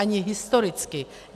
Ani historicky.